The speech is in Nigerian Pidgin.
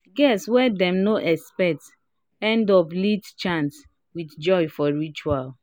guests wey dem no expect end up lead chant with joy for ritual